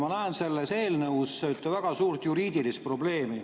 Ma näen selles eelnõus väga suurt juriidilist probleemi.